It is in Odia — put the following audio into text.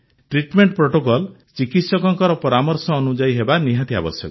ଟ୍ରିଟମେଣ୍ଟ ପ୍ରୋଟୋକଲ୍ ଚିକିତ୍ସକଙ୍କ ପରାମର୍ଶ ଅନୁଯାୟୀ ହେବା ନିହାତି ଆବଶ୍ୟକ